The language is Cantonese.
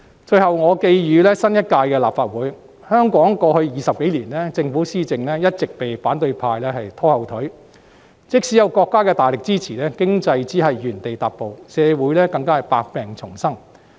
最後，我寄語新一屆立法會，香港在過去20多年來，政府施政一直被反對派拖後腿，即使有國家大力支持，經濟只能原地踏步，社會更是百病叢生。